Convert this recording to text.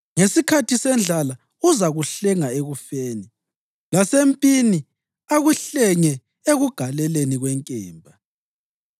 Ngesikhathi sendlala uzakuhlenga ekufeni, lasempini akuhlenge ekugaleleni kwenkemba.